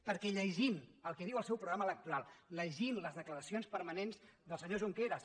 perquè llegint el que diu el seu programa electoral llegint les declaracions permanents del senyor junqueras